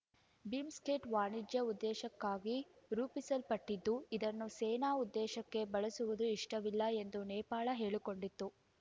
BIMSTEC ವಾಣಿಜ್ಯ ಉದ್ದೇಶಕ್ಕಾಗಿ ರೂಪಿಸಲ್ಪಟ್ಟಿದ್ದು ಇದನ್ನು ಸೇನಾ ಉದ್ದೇಶಕ್ಕೆ ಬಳಸುವುದು ಇಷ್ಟವಿಲ್ಲ ಎಂದು ನೇಪಾಳ ಹೇಳಿಕೊಂಡಿತ್ತು